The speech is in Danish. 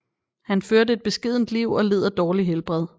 Han førte et beskedent liv og led af dårligt helbred